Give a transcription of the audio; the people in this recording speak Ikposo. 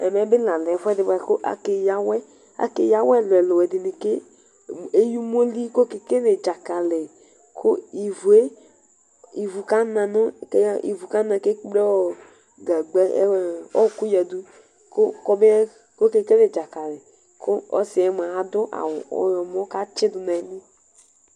Ɛmɛ bi ɛfʋɛdi kʋ akeya awɛ Akeya awɛ ɛlʋ ɛlʋ ɛlʋ ɛdini eya umoli kʋ ekekele dzakali kʋ ivu kana kʋ ekple ɔkʋ yadʋ kɔbɛkele dzakali kʋ ɔsiyɛ mʋa adʋ ɔyɔmɔ kʋ atsidʋ nʋ ayili